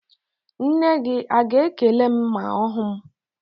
Nne gị a ga-ekele m ma ọ hụ m?